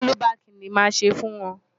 Ọ́lúbaàkì ni màá ṣe fún wọn.